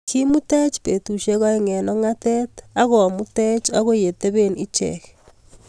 Kimutech petusiek oeng eng ong'atet agomutech agoi yekitepee icheek